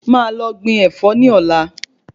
Máà lọ gbin Ẹ̀fọ́ ni ọ̀la